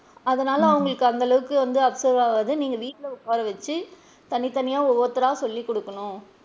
அதனால அவுங்களுக்கு அந்த அளவுக்கு வந்து observe ஆகாது நீங்க வீட்ல உட்காரவச்சு தனி தனியா ஒருத்தரா சொல்லி குடுக்கணும்.